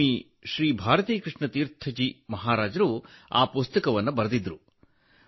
ಸ್ವಾಮಿ ಶ್ರೀ ಭಾರತೀಕೃಷ್ಣ ತೀರ್ಥ ಜಿ ಮಹಾರಾಜರು ಆ ಪುಸ್ತಕವನ್ನು ಬರೆದಿದ್ದರು